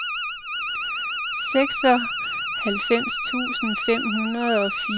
seksoghalvfems tusind fem hundrede og fireoghalvtreds